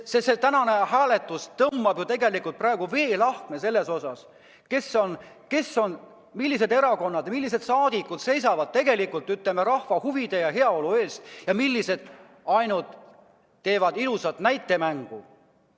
Tänane hääletus tõmbab ju tegelikult veelahkme selles osas, millised erakonnad ja millised saadikud seisavad tegelikult rahva huvide ja heaolu eest ja millised teevad ainult ilusat näitemängu.